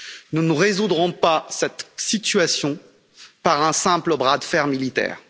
Nous ne résoudrons pas cette situation par un simple bras de fer militaire.